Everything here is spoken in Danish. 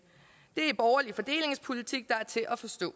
det er borgerlig fordelingspolitik der er til at forstå